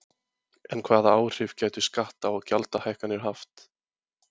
En hvaða áhrif gætu skatta- og gjaldahækkanir haft?